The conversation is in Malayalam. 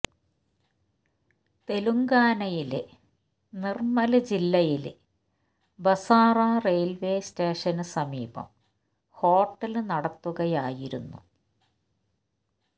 തെലുങ്കാനയിലെ നിര്മ്മല് ജില്ലയില് ബസാറ റെയില്വേ സ്റ്റേഷന് സമീപം ഹോട്ടല് നടത്തുകയായിരുന്നു